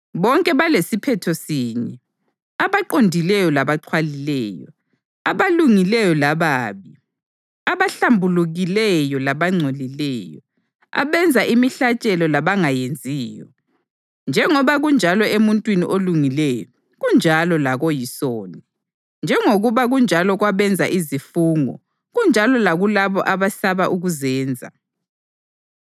Bonke balesiphetho sinye, abaqondileyo labaxhwalileyo, abalungileyo lababi, abahlambulukileyo labangcolileyo, abenza imihlatshelo labangayenziyo. Njengoba kunjalo emuntwini olungileyo, kunjalo lakoyisoni; njengoba kunjalo kwabenza izifungo, kunjalo lakulabo abesaba ukuzenza.